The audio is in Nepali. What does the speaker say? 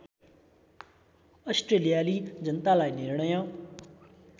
अस्ट्रेलियाली जनतालाई निर्णय